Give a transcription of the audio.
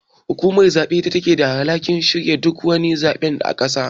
Hukumar zabe ita take da alhakin shirya duk wani zabe a ƙasa.